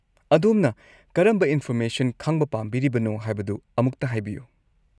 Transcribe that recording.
ꯑꯗꯣꯝꯅ ꯀꯔꯝꯕ ꯏꯟꯐꯣꯔꯃꯦꯁꯟ ꯈꯪꯕ ꯄꯥꯝꯕꯤꯔꯤꯕꯅꯣ ꯍꯥꯏꯕꯗꯨ ꯑꯃꯨꯛꯇ ꯍꯥꯏꯕꯤꯌꯨ꯫